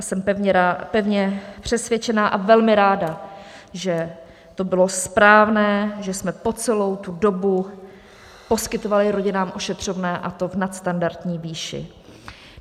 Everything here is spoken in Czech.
A jsem pevně přesvědčena a velmi ráda, že to bylo správné, že jsme po celou tu dobu poskytovali rodinám ošetřovné, a to v nadstandardní výši.